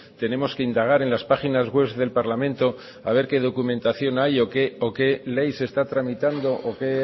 tenemos que indagar en las páginas web del parlamento a ver qué documentación hay o qué ley se está tramitando o qué